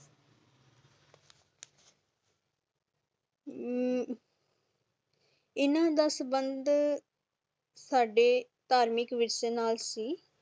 ਅਮ ਇੰਨਾ ਦਾ ਸੰਬੰਧ ਸਾਡੇ ਤਾਰਮਿਕ ਵਿਸ਼ੇ ਨਾਲ ਸੀ